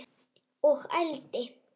Og ældi.